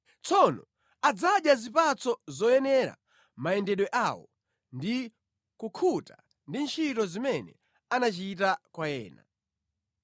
Tsono adzadya zipatso zoyenera mayendedwe awo ndi kukhuta ndi ntchito zimene anachita kwa ena.